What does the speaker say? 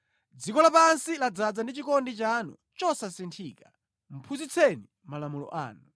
Dziko lapansi ladzaza ndi chikondi chanu chosasinthika, phunzitseni malamulo anu.